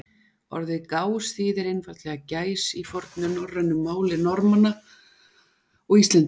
Orðið gás þýðir einfaldlega gæs í fornu norrænu máli Norðmanna og Íslendinga.